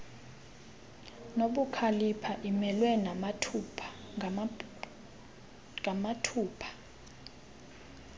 nobukhalipha imelwe ngamathupha